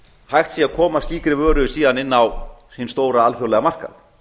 hægt sé að koma slíkri vöru síðan inn á hinn stóra alþjóðlega markað